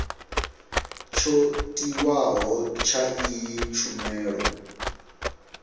tsho tiwaho tsha iyi tshumelo